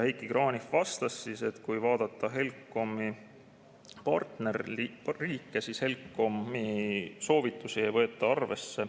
Heiki Kranich vastas, et kui vaadata HELCOM-i partnerriike, siis HELCOM-i soovitusi ei võeta arvesse.